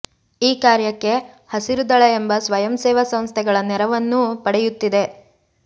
ಈ ಕಾರ್ಯಕ್ಕೆ ಹಸಿರುದಳ ಎಂಬ ಸ್ವಯಂ ಸೇವಾ ಸಂಸ್ಥೆಗಳ ನೆರವನ್ನೂ ಪಡೆಯುತ್ತಿದೆ